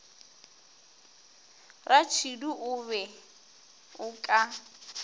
ratšhidi o be o ka